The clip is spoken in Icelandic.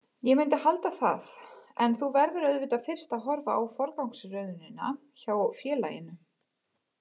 Ég myndi halda það en þú verður auðvitað fyrst að horfa á forgangsröðunina hjá félaginu.